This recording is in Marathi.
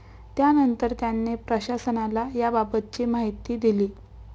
त्यानंतर त्याने प्रशासनाला याबाबतची माहिती दिली.